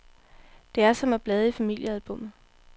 Det er som at blade i familiealbummet.